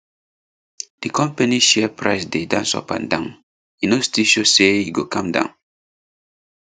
di company share price dey dance up and down e no still show say e go calm down